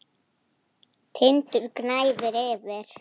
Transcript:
Tindur gnæfir yfir.